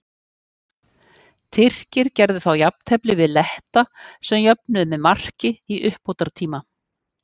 Tyrkir gerðu þá jafntefli við Letta sem jöfnuðu með marki í uppbótartíma.